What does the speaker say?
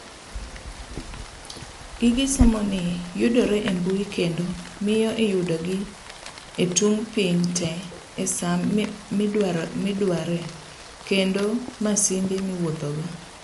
Gige somoni yudore e mbui kendo miyo iyudogi etung' piny tee esaa midwaree kendo e masinde miwuothogo.